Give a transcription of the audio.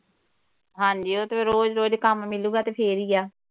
ਹਾਂਜੀ ਉਹ ਤੇ ਰੋਜ਼ ਰੋਜ਼ ਕੰਮ ਮਿਲੂਗਾ ਤੇ ਫੇਰ ਹੀ ਆ।